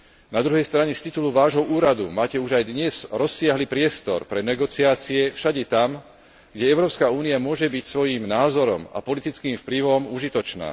Na druhej strane z titulu vášho úradu máte už aj dnes rozsiahly priestor pre negociácie všade tam, kde Európska únia môže byť svojím názorom a politickým vplyvom užitočná.